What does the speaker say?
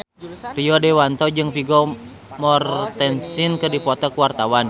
Rio Dewanto jeung Vigo Mortensen keur dipoto ku wartawan